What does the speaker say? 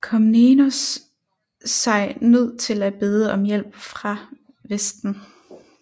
Komnenos sig nødt til at bede om hjælp fra Vesten